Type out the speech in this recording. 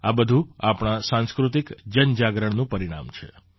આ બધું આપણા સાંસ્કૃતિક જનજાગરણનું પરિણામ છે